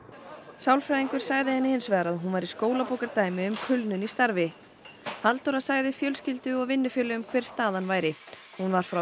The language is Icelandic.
sálfræðingur sagði henni hins vegar að hún væri skólabókardæmi um kulnun í starfi Halldóra sagði fjölskyldu og vinnufélögum hver staðan væri hún var frá